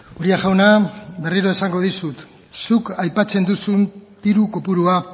uria jauna berriro esango dizut zuk aipatzen duzun diru kopurua